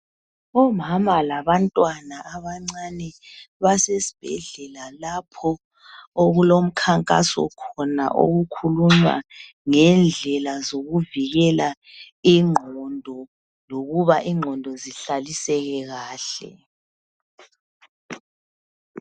Omama labantwana abancane basesibhedlela lapho okulomkhankaso khona ngendlela zokuvikela ingqondo lokuba ingqondo zihlaliseke kahle